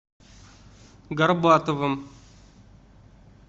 горбатовым